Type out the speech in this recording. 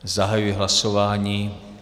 Zahajuji hlasování.